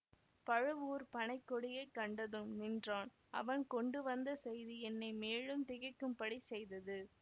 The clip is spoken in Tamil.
பழுவூர்ப் பனை கொடியை கண்டதும் நின்றான் அவன் கொண்டு வந்த செய்தி என்னை மேலும் திகைக்கும்படி செய்தது